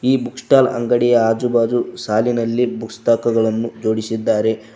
ಈ book stall ಅಂಗಡಿಯ ಆಜು ಬಾಜು ಸಾಲಿನಲ್ಲಿ ಪುಸ್ತಕಗಳನ್ನು ಜೋಡಿಸಿದ್ದಾರೆ.